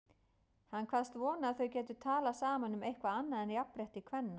Hann kvaðst vona að þau gætu talað saman um eitthvað annað en jafnrétti kvenna.